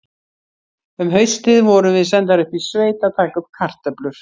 Um haustið vorum við sendar upp í sveit að taka upp kartöflur.